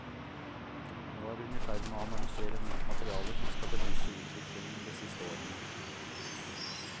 Nå er hun i ferd med å analysere nytt materiale som skal belyse utviklingen de siste årene.